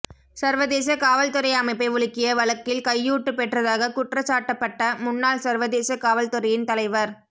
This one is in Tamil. சர்வதேச காவல்துறை அமைப்பை உலுக்கிய வழக்கில் கையூட்டுப் பெற்றதாக குற்றச் சாட்டப்பட்ட முன்னாள் சர்வதேச காவல்துறையின் தலைவர்